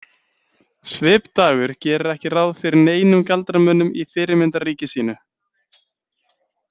Svipdagur gerir ekki ráð fyrir neinum galdramönnum í fyrirmyndarríki sínu.